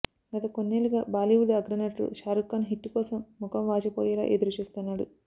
గత కొన్నేళ్లుగా బాలీవుడ్ అగ్ర నటుడు షారుఖ్ ఖాన్ హిట్టు కోసం మొఖం వాచిపోయేలా ఎదురు చూస్తున్నాడు